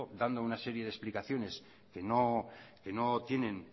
dando una serie de explicaciones que no tienen